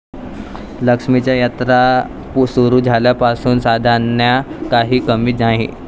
लक्ष्मीच्या यात्रा सुरु झाल्यापासून साद्यांना काही कमी नाही.